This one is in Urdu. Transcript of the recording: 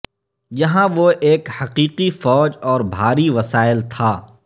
یہاں وہ ایک حقیقی فوج اور بھاری وسائل تھا